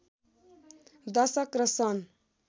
दशक र सन्